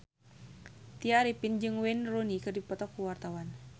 Tya Arifin jeung Wayne Rooney keur dipoto ku wartawan